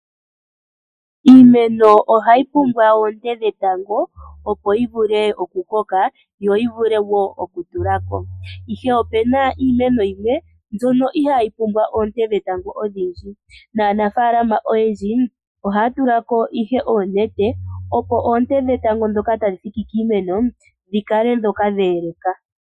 Iimeno ohayi pumbwa oonte dhetango opo yivule okukoka yo yivule woo okutulako, ihe opena iimeno yimwe mbyono ihayi pumbwa oonte dhetango odhindji nanafaalama oyendji ohaya tulako ihe oonete opo oonte dhetango dhoka tadhi thiki kiimeno dhikale dha eleka.